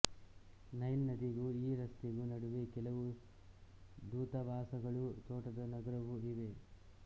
Nile ನದಿಗೂ ಈ ರಸ್ತೆಗೂ ನಡುವೆ ಕೆಲವು ದೂತಾವಾಸಗಳೂ ತೋಟದ ನಗರವೂ ಇವೆ